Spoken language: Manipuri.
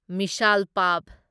ꯃꯤꯁꯥꯜ ꯄꯥꯚ